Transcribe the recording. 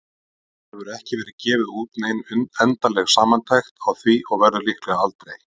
Það hefur ekki verið gefin út nein endanleg samantekt á því og verður líklega aldrei.